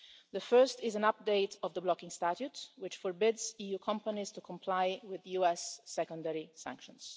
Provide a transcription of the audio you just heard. The first is an update of the blocking statute, which forbids EU companies to comply with US secondary sanctions.